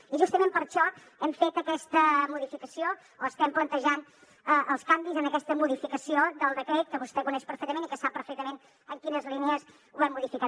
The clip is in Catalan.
i justament per això hem fet aquesta modificació o estem plantejant els canvis en aquesta modificació del decret que vostè coneix perfectament i que sap perfectament en quines línies ho hem modificat